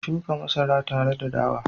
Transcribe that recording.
mu shuka masara tare da dawa?